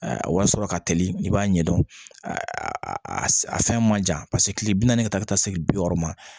Wari sɔrɔ ka teli i b'a ɲɛdɔn a a fɛn man jan paseke kile bi naani ka taa ka taa se bi wɔɔrɔ ma